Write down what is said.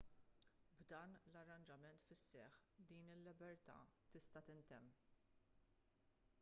b'dan l-arranġament fis-seħħ din il-libertà tista' tintemm